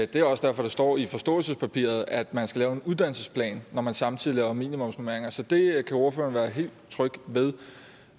det er også derfor det står i forståelsespapiret at man skal lave en uddannelsesplan når man samtidig laver minimumsnormeringer så det kan ordføreren være helt tryg ved